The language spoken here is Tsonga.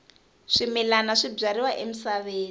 swimilana swi byariwa emisaveni